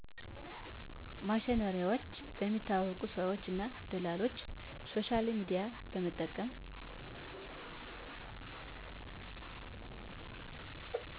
ማሽነሪዎች በሚታወቁ ሰዎች እና ደላሎች ሶሻልሚድያን በመጠቀም